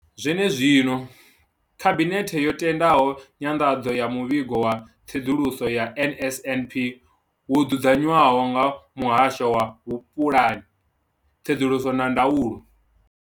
Zwene zwino, Khabinethe yo tendela nyanḓadzo ya Muvhigo wa Tsedzuluso ya NSNP wo dzudzanywaho nga Muhasho wa Vhupulani, Tsedzuluso na Ndaulo.